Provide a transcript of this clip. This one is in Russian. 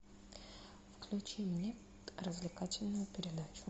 включи мне развлекательную передачу